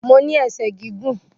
Mo ní ẹsẹ̀ gígùn